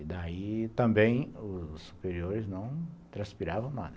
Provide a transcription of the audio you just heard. E daí, também, os superiores não transpiravam nada.